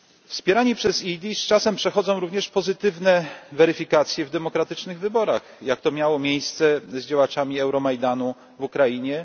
Wspierani przez EED z czasem przechodzą również pozytywne weryfikacje w demokratycznych wyborach jak to miało miejsce z działaczami Euromajdanu na Ukrainie.